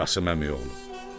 Qasım Əməyəoğlu.